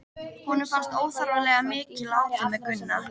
Honum fannst óþarflega mikið látið með Gunna.